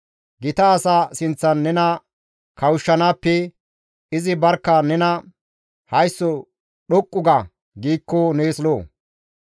Gita asa sinththan nena kawushshanaappe izi barkka nena, «Haysso dhoqqu ga» giikko nees lo7o.